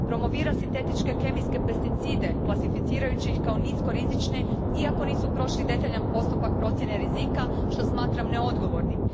Promovira sintetičke kemijske pesticide klasificirajući ih kao nisko rizične iako nisu prošli detaljan postupak procjene rizika, što smatram neodgovornim.